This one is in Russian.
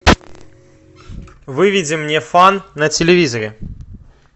выведи мне фан на телевизоре